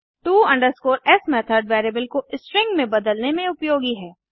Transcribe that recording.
to s method variable को string में बदलने में उपयोगी है